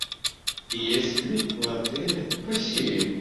есть ли в отеле бассейн